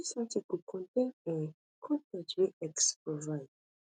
dis article contain um con ten t wey x provide